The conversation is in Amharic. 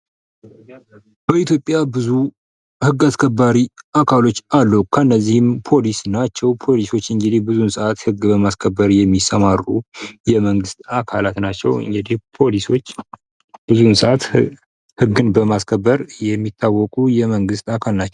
በኢትዮጵያ ብዙ ህግ አስከባሪ አካሎች አሉ ።ከነዚህም ፖሊሶች ናቸው። ፖሊሶች ህግ በማስከበር የሚሰማሩ የመንግስት አካላት ናቸው።